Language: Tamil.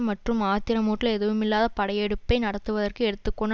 மற்றும் ஆத்திரமூட்டல் எதுவுமில்லாத படையெடுப்பை நடத்துவதற்கு எடுத்துக்கொண்ட